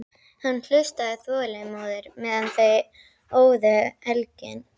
Hann hlustaði þolinmóður meðan þau óðu elginn.